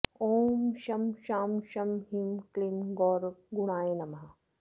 ॐ शं शां षं ह्रीं क्लीं गौरगुणाय नमः